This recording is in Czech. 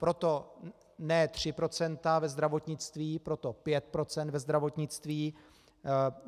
Proto ne 3 % ve zdravotnictví, proto 5 % ve zdravotnictví.